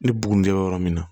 Ni bugunde yɔrɔ min na